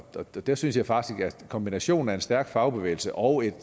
der synes jeg faktisk at kombinationen af en stærk fagbevægelse og et